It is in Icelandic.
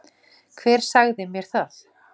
Hver sagði mér það